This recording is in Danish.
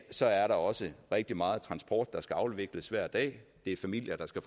så er der også rigtig meget transport der skal afvikles hver dag det er familier der skal